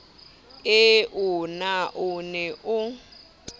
eo na o ne o